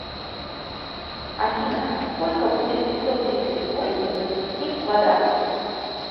афина сколько будет пятьсот тридцать восемь возвести в квадрат